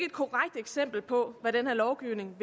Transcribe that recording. det er simpelt på hvad den her lovgivning